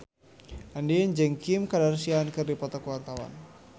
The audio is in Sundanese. Andien jeung Kim Kardashian keur dipoto ku wartawan